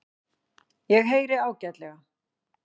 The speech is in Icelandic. Ég heyri ágætlega.